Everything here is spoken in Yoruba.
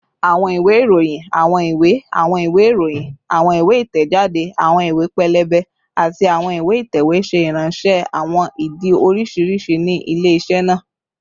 Awọn iwe iroyin, awọn iwe, awọn iwe iroyin, awọn iwe itẹjade, awọn iwe pẹlẹbẹ, ati awọn iwe itẹwe ṣe iranṣẹ awọn idi oriṣiriṣi ni ile-iṣẹ naa